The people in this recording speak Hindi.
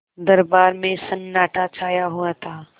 दरबार में सन्नाटा छाया हुआ था